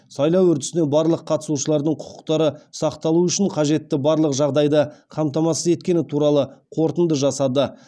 сайлау үрдісіне барлық қатысушылардың құқықтары сақталуы үшін қажетті барлық жағдайды қамтамасыз еткені туралы қорытынды жасады